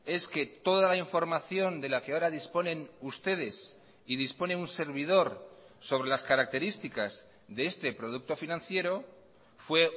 es que toda la información de la que ahora disponen ustedes y dispone un servidor sobre las características de este producto financiero fue